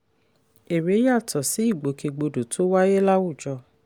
èrè yàtọ̀ sí ìgbòkègbodò tó wáyé láwùjọ.